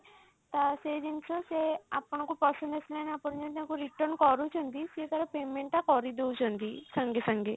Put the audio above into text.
ତ ସେଇ ଜିନିଷ ସେ ଆପଣଙ୍କୁ ପସନ୍ଦ ଆସିଲାନି ଆପଣ ଯାଇ ତାଙ୍କୁ return କରୁଛନ୍ତି ସିଏ ତାର payment ଟା କରିଦଉଛନ୍ତି ସାଙ୍ଗେ ସାଙ୍ଗେ